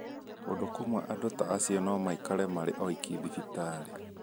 Kũndũ kũmwe andũ ta acio no maikarage marĩ oiki thibitarĩ.